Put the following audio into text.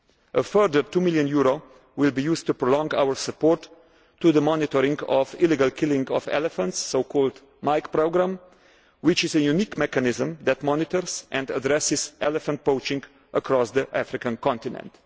crime. A further EUR 2 million will be used to prolong our support to the monitoring of the illegal killing of elephants, the so called MIKE programme, which is a unique mechanism which monitors and addresses elephant poaching across the African continent.